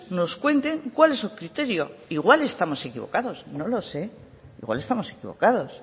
nos cuenten cual es su criterio igual estamos equivocados no lo sé igual estamos equivocados